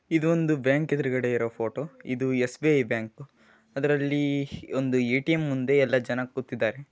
ಇದೊಂದು ಬ್ಯಾಂಕ್ ಎದುರುಗಡೆ ಇರೋ ಫೋಟೋ ಇದು ಎಸ್ ಬಿ ಐ ಬ್ಯಾಂಕ್ ಅದರಲ್ಲಿ ಒಂದು ಎ ಟಿ ಎಂ ಮುಂದೆ ಎಲ್ಲ ಜನ ಕೂತಿದ್ದಾರೆ.